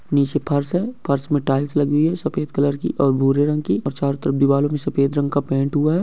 नीचे फर्श है फर्श मैं टीएल्स लगी हुई है सफ़ेद कलर की और बूरे रंग की और चरो तरफ दीवारो मैं सफ़ेद रंग का पैंट हुआ है।